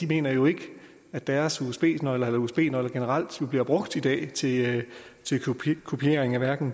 mener jo ikke at deres usb nøgler eller usb nøgler generelt bliver brugt i dag til kopiering af